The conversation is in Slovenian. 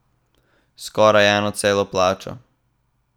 Skoraj eno celo plačo.